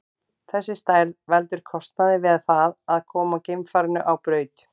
Þessi stærð veldur kostnaði við það að koma geimfarinu á braut.